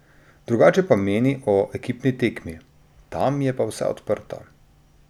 Drugače pa meni o ekipni tekmi: "Tam je pa vse odprto.